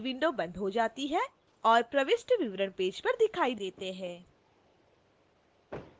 वही window बंद हो जाती है और प्रविष्ट विवरण पेज पर दिखाई details हैं